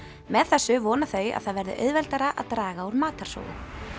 með þessu vona þau að það verði auðveldara að draga úr matarsóun